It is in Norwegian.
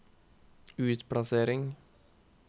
utplassering